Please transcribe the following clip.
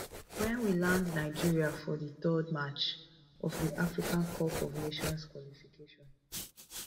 wen we land nigeria for di third match of di africa cup of nations qualification